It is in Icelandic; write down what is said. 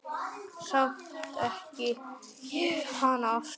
Samt þekki ég hana aftur.